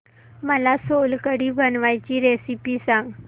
मला सोलकढी बनवायची रेसिपी सांग